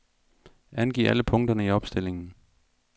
Angiv alle punkter i opstillingen.